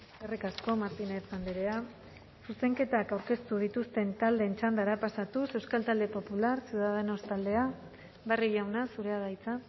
eskerrik asko martínez andrea zuzenketak aurkeztu dituzten taldeen txandara pasatuz euskal talde popular ciudadanos taldea barrio jauna zurea da hitza